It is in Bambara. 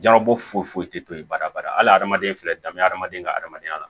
Jarabɔ foyi foyi foyi tɛ to yen baraba ala hadamaden filɛ danbe hadamaden ka hadamadenya la